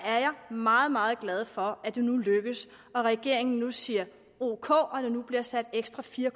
meget meget glad for at det nu er lykkedes og at regeringen nu siger ok og at der nu bliver sat ekstra fire